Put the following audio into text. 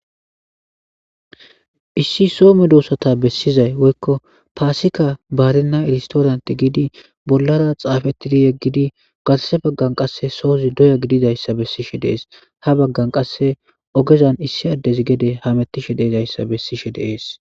Issi soho medosata besizay woykko pasikka barena storantte gidi bolara xaafetido yegidi garse bagan qase sozi doya gididaysa besishe dees haa baggan qase ogezan issi addezi gede hametishe de'izaysa besishe de'es